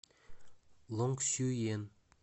лонгсюен